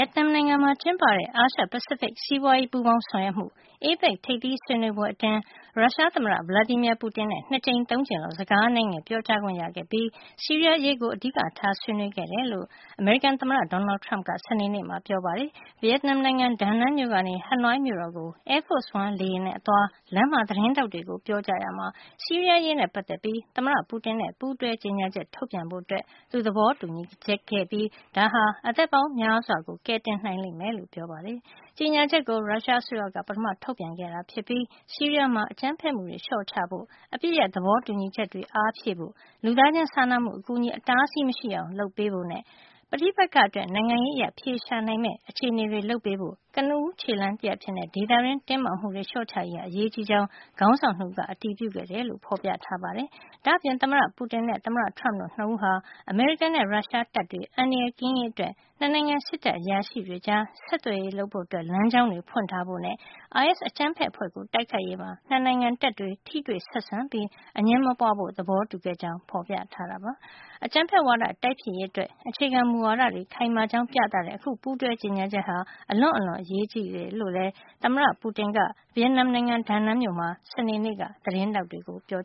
က်နမ်နိုင်ငံမှာ ကျင်းပတဲ့ အာရှ-ပဖိစိဖိတ် စီးပွားရေးပူးပေါင်းဆောင်ရွက်မှု APEC ထိပ်သီးဆွေးနွေးပွဲအတွင်း ရုရှားသမ္မတ Vladimir Putin နဲ့ ၂ ကြိမ်- ၃ ကြိမ်လောက် စကားအနဲငယ် ပြောကြားခွင့်ရခဲ့ပြီး ဆီးရီးယားအရေးကို အဓိကထား ပြောကြားခဲ့တယ်လို့ အမေရိကန် သမ္မတ Donald Trump က စနေနေ့မှာ ပြောပါတယ်။ ဗီယက်နမ်နိုင်ငံ ဒါနန်း မြို့ကနေ ဟနွိုင်းမြို့တော်ကို Air Force One လေယာဉ်နဲ့ အသွား လမ်းမှာသတင်းထောက် တွေကို ပြောကြားရာမှာ ဆီးရီးယား အရေးနဲ့ ပတ်သက်ပြီး သမ္မတ Putin နဲ့ ပူးတွဲကြေညာချက် ထုတ်ပြန်ဖို့ သူသဘောတူညီခဲ့ပြီး ဒါဟာ အသက်ပေါင်းများစွာကို ကယ်တင်နိုင်လိမ့်မယ်လို့ ပြောပါတယ်။ ကြေညာချက်ကို ရုရှားအစိုးရက ပထမထုတ်ပြန်ခဲ့တာ ဖြစ်ပြီး ဆီးရီးယားမှာ အကြမ်းဖက် မှုတွေ လျှော့ချဖို့၊ အပစ်ရပ်သဘောတူညီချက်တွေ အားဖြည့်ဖို့၊ လူသားချင်းစာနာမှုအကူညီ အတားအဆီးမရှိအောင် လုပ်ဖို့နဲ့ ပဋိပက္ခအတွက် နိုင်ငံရေးအရ အဖြေရှာနိုင်မယ့် အခြေနေတွေ လုပ်ပေးဖို့ ကနဦးခြေလှမ်းတရပ် အဖြစ် ဒေသတွင်းတင်းမာမှုတွေ လျှော့ချရေးဟာ အရေးကြီးကြောင်း ခေါင်းဆောင် ၂ ဦးက အတည်ပြုခဲ့တယ်လို့ ဖေါ်ပြထားပါတယ်။ ဒါ့အပြင် သမ္မတ Putin နဲ့ သမ္မတ Trump တို့ ၂ ဦးဟာ အမေရိကန်နဲ့ ရုရှားတပ်တွေ အန္တရာယ်ကင်းရေး အတွက် ၂ နိုင်ငံ စစ်တပ် အရာရှိတွေကြား ဆက်သွယ်ရေးလုပ်ဖို့ လမ်းကြောင်းတွေ ဖွင့်ထားဖို့ နဲ့ အိုင်အက်စ် အကြမ်းဖက် အဖွဲ့ကို တိုက်ခိုက်ရေးမှာ ၂ နိုင်ငံတပ်တွေ ထိတွေ့ဆက်ဆံပြီး အငြင်းမပွါးဖို့ သဘောတူခဲ့ကြောင်း ဖေါ်ပြထားပါတယ်။ အကြမ်းဖက်ဝါဒ တိုက်ဖျက်ရေး အတွက် အခြေခံမူဝါဒတွေ ခိုင်မာကြောင်းပြသတဲ့ အခု ပူးတွဲကြေညာချက်ဟာ အလွန့်အလွန် အရေးကြီးကြောင်းလည်း သမ္မတ Putin က ဗီယက်နမ်နိုင်ငံ ဒါနန်းမြို့မှာ စနေနေ့က သတင်းထောက်တွေကို ပြော